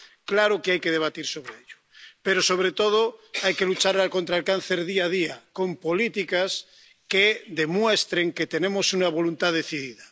Claro que hay que debatir sobre ello, pero, sobre todo, hay que luchar contra el cáncer día a día, con políticas que demuestren que tenemos una voluntad decidida.